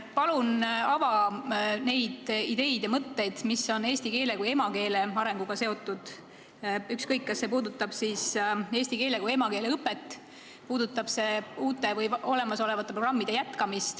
Palun ava neid ideid ja mõtteid, mis on eesti keele kui emakeele arenguga seotud – ükskõik, kas see puudutab eesti keele kui emakeele õpet või uusi või olemasolevaid programme.